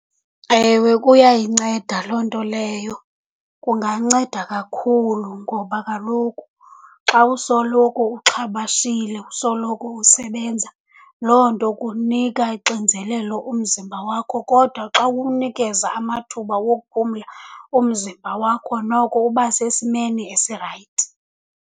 Ewe, kuyayinceda loo nto leyo. Kunganceda kakhulu ngoba kaloku xa usoloko uxhabashile, usoloko usebenza, loo nto kunika ixinzelelo umzimba wakho. Kodwa xa uwunikeza amathuba wokuphumla umzimba wakho, noko uba sesimeni esirayithi.